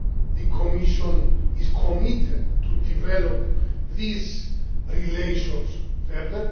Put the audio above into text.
The Commission is committed to developing these relations further.